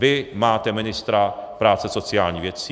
Vy máte ministra práce a sociálních věcí.